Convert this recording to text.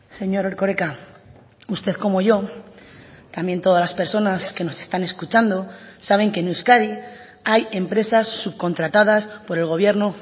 señor erkoreka usted como yo también todas las personas que nos están escuchando saben que en euskadi hay empresas subcontratadas por el gobierno